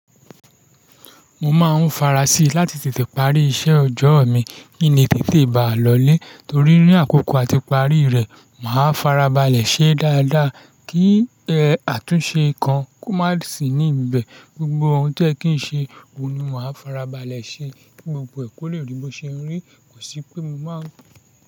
Mo máa ń farasi láti tètè parí iṣẹ́ ọjọ́ mi kí ni tètè bá lọ lé torí ní àkókò àti parí rẹ̀, màá farabalẹ̀ ṣe dáadáa kí àtúnṣe kan má sì ní ibẹ̀. Gbgbo ohun tí ẹ kìí ṣe, òun ni màá farabalẹ̀ ṣe kí gbogbo ẹ kú lè rí bó ṣe ń rí, kò sí pé mo má.